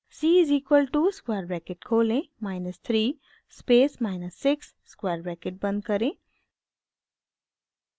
c is equal to square bracket खोलें minus 3 space minus 6 square bracket बंद करें